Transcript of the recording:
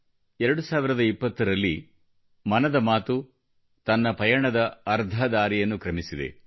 2020ರಲ್ಲಿ ಮನದ ಮಾತು ತನ್ನ ಪಯಣದ ಅರ್ಧ ದಾರಿಯನ್ನು ಕ್ರಮಿಸಿದೆ